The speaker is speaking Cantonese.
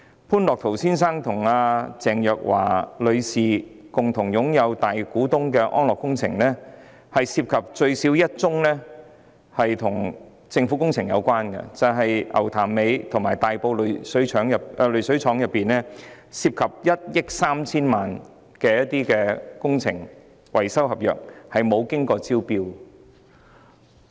潘樂陶先生與鄭若驊女士都是安樂工程集團的大股東，該集團最少有1宗工程與政府有關，就是牛潭尾濾水廠和大埔濾水廠涉及1億 3,000 萬元的工程維修合約，但沒有經過招標。